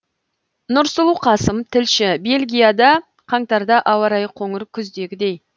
нұрсұлу қасым тілші бельгияда қаңтарда ауа райы қоңыр күздегідей